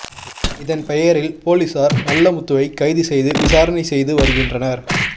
இதன் பெயரில் போலீசார் நல்ல முத்துவை கைது செய்து விசாரணை செய்து வருகின்றனர்